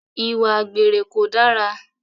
Ìwà àgbèrè kò dára